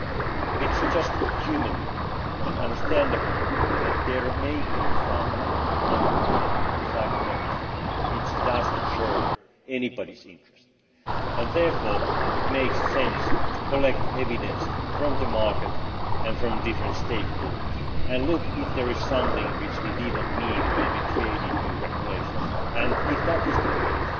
It is only human and understandable that there may be some unintended side effects which do not serve anybody's interest, and therefore it makes sense to collect evidence from the market and from different stakeholders and look to see if there is something which we did not intend when we created new regulations and if that is the case,